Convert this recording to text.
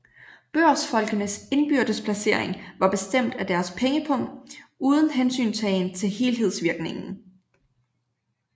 Børsfolkenes indbyrdes placering var bestemt af deres pengepung uden hensyntagen til helhedsvirkningen